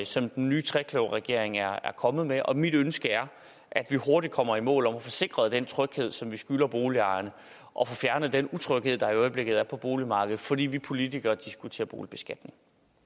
som den nye trekløverregering er kommet med og mit ønske er at vi hurtigt kommer i mål til at få sikret den tryghed som vi skylder boligejerne og få fjernet den utryghed der i øjeblikket er på boligmarkedet fordi vi politikere diskuterer boligbeskatning